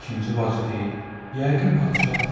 İkinci bacı deyir: Yəqin padşahdır.